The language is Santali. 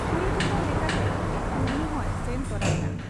ᱠᱩᱲᱤ ᱦᱚᱯᱚᱱ ᱞᱮᱠᱟᱛᱮ ᱰᱩᱢᱱᱤᱦᱚᱸᱭ ᱥᱮᱱ ᱛᱚᱨᱟ ᱮᱱᱟ ᱾